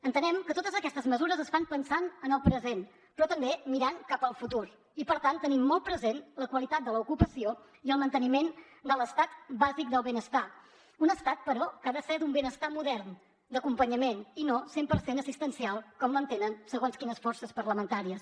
entenem que totes aquestes mesures es fan pensant en el present però també mirant cap al futur i per tant tenint molt present la qualitat de l’ocupació i el manteniment de l’estat bàsic del benestar un estat però que ha de ser d’un benestar modern d’acompanyament i no cent per cent assistencial com l’entenen segons quines forces parlamentàries